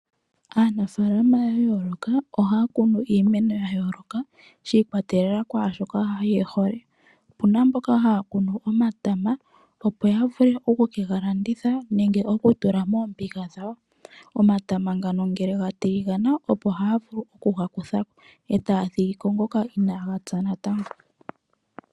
Aanafaalama ya yooloka ohaya kunu iimeno ya yooloka shi ikwatelela kwaashoka ye hole. Opuna mboka haya kunu omatama opo ya vule oku ke ga landitha nenge yega tule moombiga dhawo. Omatama ngano ngele gatiligana, opo haya vulu oku ga kutha ko etaya thigi ko ngoka inaaga pya natango.